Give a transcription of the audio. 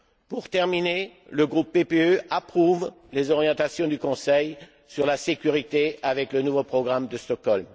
Pour terminer, le groupe PPE approuve les orientations du Conseil sur la sécurité avec le nouveau programme de Stockholm.